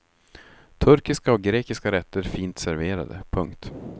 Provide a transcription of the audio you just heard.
Turkiska och grekiska rätter fint serverade. punkt